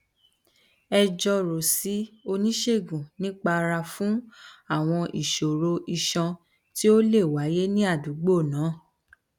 ẹ jọrọ sí oníṣègùn nípa ara fún àwọn ìṣòro iṣan tó lè wáyé ní àdúgbò náà